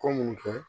Ko mun kɛ